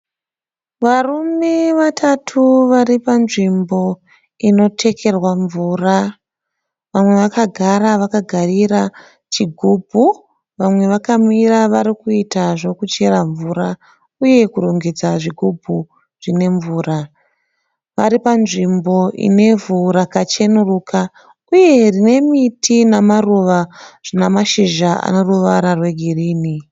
Varume vatatu varipanzvimbo inotekerwa mvura. Vamwe vakagara vakagarira chigubhu. Vamwe vakamira varikuita zvekuchera mvura uye kurongedza zvigubhu zvine mvura. Vari panzvimbo inevhu rakachenuruka uye rinemiti namaruva zvine mashizha aneruvara rwegirini.